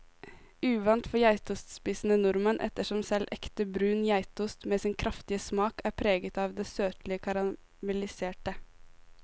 Uvant for geitostspisende nordmenn, ettersom selv ekte brun geitost med sin kraftige smak er preget av det søtlige karamelliserte.